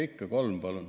Ikka, ikka, kolm, palun!